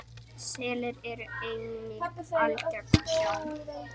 Selir eru einnig algeng sjón.